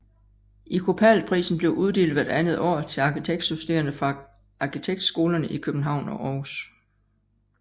Icopal Prisen bliver uddelt hvert andet år til arkitektstuderende fra arkitektskolerne i København og Århus